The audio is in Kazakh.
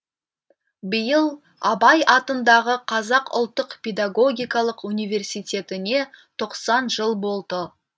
биыл абай атындағы қазақ ұлттық педагогикалық университетіне тоқсан жыл болды